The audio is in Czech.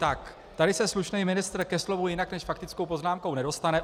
Tak, tady se slušný ministr ke slovu jinak než faktickou poznámkou nedostane.